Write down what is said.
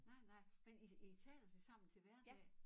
Nej nej men i i taler det sammen til hverdag